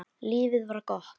Lífið var gott.